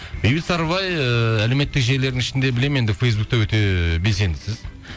бейбіт сарыбай ыыы әлеуметтік желілердің ішінде білемін енді фейсбукте өте белсендісіз